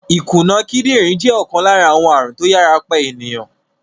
Ìkùna kídìrín jẹ́ ọ̀kan lára àwọn ààrùn tó yàrá pa ènìyàn.